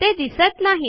ते दिसत नाही